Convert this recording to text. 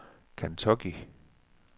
Kentucky